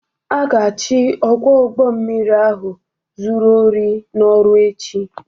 A ga-achụ ọkwọ ụgbo mmiri ahụ zuru ohi n'ọrụ echi.